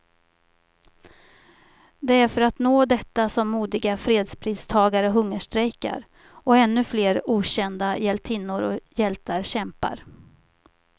Det är för att nå detta som modiga fredspristagare hungerstrejkar, och ännu flera okända hjältinnor och hjältar kämpar.